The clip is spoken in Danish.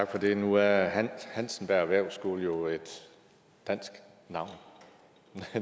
tak for det nu er hansenberg erhvervsskole jo et dansk navn